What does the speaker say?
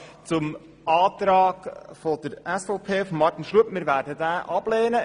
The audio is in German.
Den Antrag von Grossrat Schlup werden wir ablehnen.